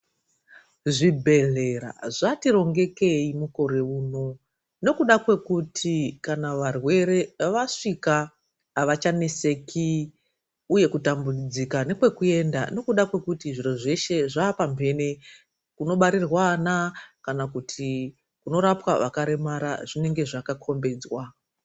Zvibhedhlera zvari rongekei mukore unowu nekuda kwekuti kana varwere vasvika avachaneseki uye kutambudzika nekwekuenda nekuda kwekuti zviro zveshe zvaapambene kunobarirwa vana kana kurapwa zviro zveshe zvinenge zvakakombedzwa.